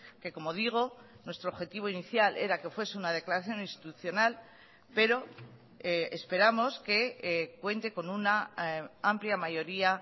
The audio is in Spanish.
que como digo nuestro objetivo inicial era que fuese una declaración institucional pero esperamos que cuente con una amplia mayoría